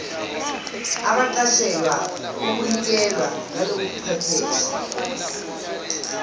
abaqashelwa ukunikela ngalobuchwepheshe